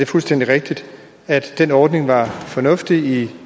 fuldstændig rigtigt at den ordning var fornuftig